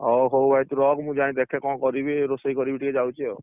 ଅ ହଉ, ଭାଇ ତୁ ରଖ ମୁଁ ଯାଇଁ ଦେଖେ କଣ କରିବି ରୋଷେଇ କରିବି ଟିକେ ଯାଉଛି ଆଉ।